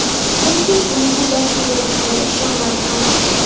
Ko‘pchilik, uning bu dardga yo‘liqqqaniga ishonmadi ham.